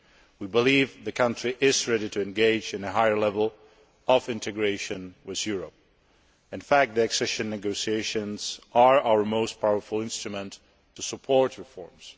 We believe the country is ready to engage in a higher level of integration with Europe. In fact, the accession negotiations are our most powerful instrument to support reforms.